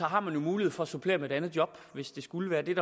har man jo mulighed for at supplere med et andet job hvis det skulle være det er